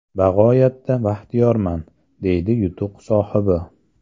Bag‘oyatda baxtiyorman”, - deydi yutuq sohibi.